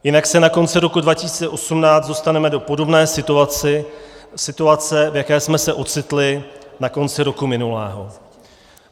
Jinak se na konci roku 2018 dostaneme do podobné situace, v jaké jsme se ocitli na konci roku minulého.